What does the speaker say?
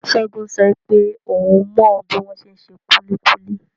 Segun sọ wípé oun mọ bi wọn ṣe n ṣe kulikuli.